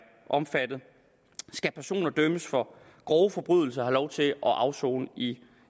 omfattet skal personer dømt for grove forbrydelser have lov til at afsone i